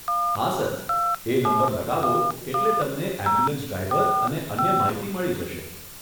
હા, સર, એ નંબર લગાવો એટલે તમને એમ્બ્યુલન્સ ડ્રાઈવર અને અન્ય માહિતી મળી જશે.